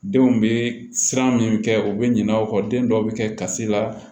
Denw bɛ siran min kɛ u bɛ ɲinɛ aw kɔ den dɔw bɛ kɛ kasi la